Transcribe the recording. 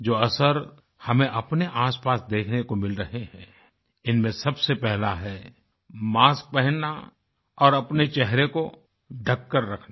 जो असर हमें अपने आसपास देखने को मिल रहे हैं इनमें सबसे पहला है मास्क पहनना और अपने चेहरे को ढ़ककर रखना